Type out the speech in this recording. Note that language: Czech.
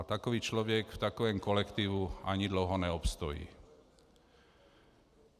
A takový člověk v takovém kolektivu ani dlouho neobstojí.